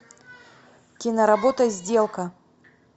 киноработа сделка